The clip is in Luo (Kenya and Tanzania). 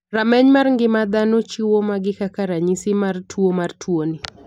Rameny mar ng'ima dhano chiwo magi kaka ranyisi mar tuo mar tuo ni.